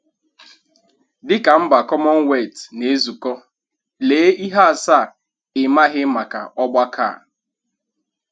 Dịka mba Commonwealth na-ezukọ, lee ihe asaa ị maghị maka ọgbakọ a